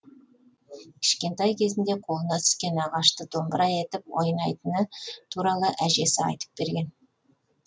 кішкентай кезінде қолына түскен ағашты домбыра етіп ойнайтыны туралы әжесі айтып берген